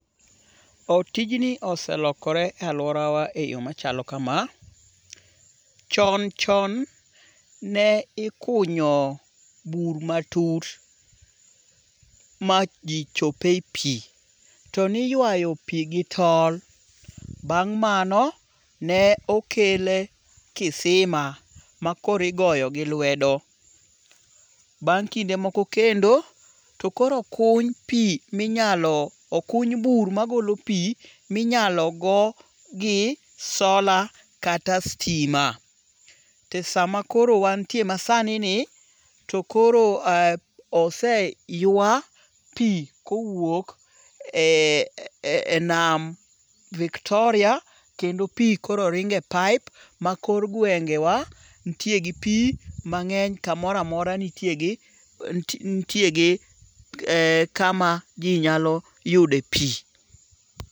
O tijni oselokore e aluorawa e yo machalo kama. Chon chon ne ikunyo bur matut ma ji chope pi. To niyuayu pi gi tol. Bang' mano ne okel kisima ma koro igoyo gi lwedo. Bang' kinde moko kendo to koro okuny pi minyalo okuny bur ma golo pi minyalo go gi sola kata sitima. To sama koro wantie ma sani ni to koro oseywa pi kowuok e nam Victoria kendo pi koro ringe pipe ma kor gwenge wa nitie gi pi mang'eny. Kamoro amora nitie gi kama ji nyaloyude pi.